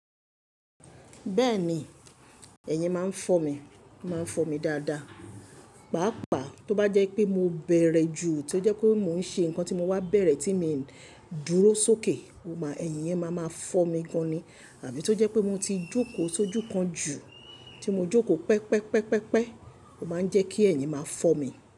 Bẹ́ẹ̀ni, ẹ̀yin máa ń fọ́ mi, o máa ń fọ́ mi dáadáa. Pàápàá tó bá jẹ́ pé mo bẹ̀rẹ̀ ju, tí ó jẹ́ kó mo ń ṣe nǹkan tí mo wá bẹ̀rẹ̀ tí mi ń dúró sókè, ó máa ẹ̀yin yẹn máa máa fọ́ mi gan ni. Àbí tó jẹ́ pé mo ti jókòó sójú kan jù, tí mo jókòó pẹpẹpẹpẹpẹ, ó máa ń jẹ́ kí ẹ̀yin máa fọ́ mi.